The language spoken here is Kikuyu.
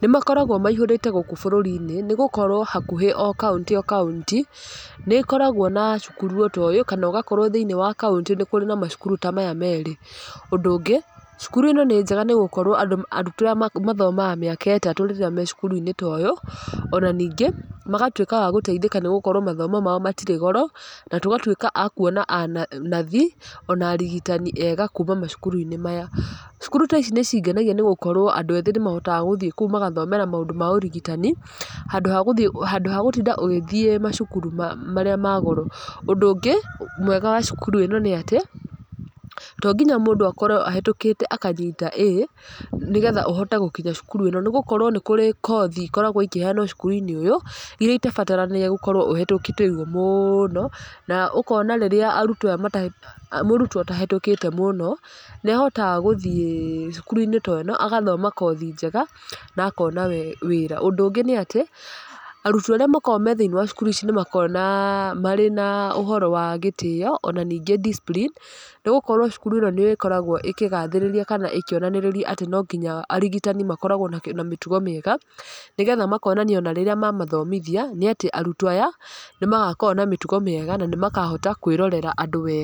nĩ makoragwo maihũrĩte gũkũ bũrũri-inĩ nĩ gũkorwo o kaunti o kaunti nĩ ĩkoragwo ona cukuru ta ũyũ, kana ũgakora o thĩiniĩ wa kaunti kwĩna macukuru ta maya merĩ, ũndũ ũngĩ cukuru ĩno nĩ njega nĩ gũkorwo arutwo aya mathomaga mĩaka ĩtatũ rĩrĩa me cukuru-inĩ ta ũyũ, ona ningĩ magatuĩka agũteithĩka nĩ gũkorwo mathomo mao matirĩ goro, na tũgatuĩka a kuona nathi ona arigitani ega kuma macukuru-inĩ maya , cukuru ta ici nĩ cingenagia nĩ gũkorwo andũ ethĩ nĩ mahotaga gũthiĩ kũu makahota gũthomera maũndũ ma ũrigitani , handũ ha gũtinda ũgĩthiĩ macukuru marĩa ma goro, ũndũ ũngĩ mwega a cukuru ĩno nĩ atĩ, to nginya mũndũ akorwo ahĩtũkĩte akanyita A nĩgetha ũhote gũkinya cukuru ĩno nĩ gũkorwo nĩkũrĩ kothi ikoragwo ikiheanwo cukuru-inĩ ũyũ , iria itabaranagia ũkorwo ũhĩtũkĩte ũguo mũno na ũkona rĩrĩa arutwo aya mũrutwo atahĩtũkĩte mũno, nĩ ahotaga gũthiĩ cukuru-inĩ ta ũyũ agathoma kothi njega na akona wĩra , ũndũ ũngĩ nĩ atĩ arutwo arĩa makoragwo me thĩiniĩ wa cukuru ici nĩ makoragwo marĩ na ũhoro wa gĩtĩo ona ningĩ discipline, nĩ gũkorwo cukuru ĩno nĩ ĩkoragwo ĩkĩgathĩrĩria kana ĩkĩonanĩrĩria atĩ no nginya arigitani makoragwo na mĩtugo mĩega, nĩgetha makonania ona rĩrĩa mamathomithia nĩ atĩ arutwo aya nĩmagakorwo na mĩtugo mĩega na nĩ makahota kwĩrorera andũ wega.